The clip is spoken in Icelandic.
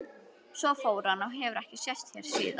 Svo fór hann og hefur ekki sést hér síðan.